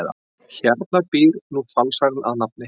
Hérna býr nú falsarinn að nafni